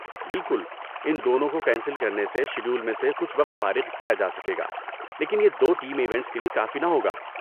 بالکل، ان دونوں کو کینسل کرنے سے شیڈول میں سے کچھ وقت فارغ کیا جا سکے گا لیکن یہ دو ٹیم ایونٹس کے لیے کافی نہ ہوگا۔